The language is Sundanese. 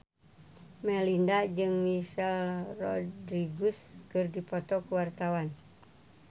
Melinda jeung Michelle Rodriguez keur dipoto ku wartawan